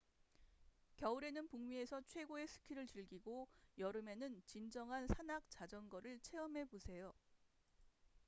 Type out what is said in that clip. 겨울에는 북미에서 최고의 스키를 즐기고 여름에는 진정한 산악자전거를 체험해 보세요